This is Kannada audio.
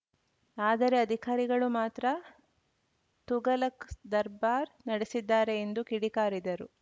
ಆದರೆ ಅಧಿಕಾರಿಗಳು ಮಾತ್ರ ತುಘಲಕ್‌ ದರ್ಬಾರ್‌ ನಡೆಸಿದ್ದಾರೆ ಎಂದು ಕಿಡಿಕಾರಿದರು